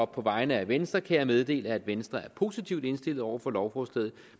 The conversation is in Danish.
på vegne af venstre kan jeg meddele at venstre er positivt indstillet over for lovforslaget